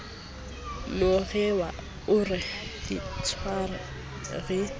ronewa o re ditlhware di